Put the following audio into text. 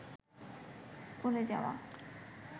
করে যাওয়া